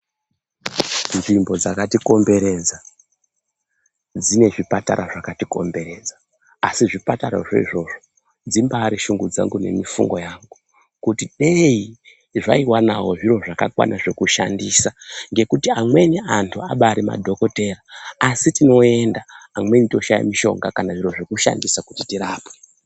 Nzvimbo dzakatikomberedza dzine zvipatara asi zapatera zvo izvozvo dzimbaari shungu dzangu kana mufungo wangu kuti dei zvaiwanawo zviro zvakakwana zvekushandisa nekuti amweni antu ambaari madhokodheya asi tinoenda teishaya zviro zvekushandisa kuti tirapwe.